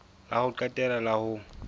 la ho qetela la ho